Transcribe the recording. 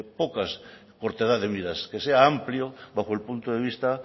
poca cortedad de miras que sea amplio bajo el punto de vista